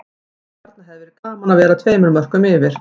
Frábær sókn og þarna hefði verið gaman að vera tveimur mörkum yfir.